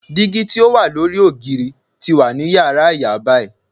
Digi ti o wa lori ogiri ti wa ni yara iya bayi.